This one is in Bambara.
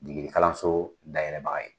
Degeli kalanso dayɛlɛbaga ye.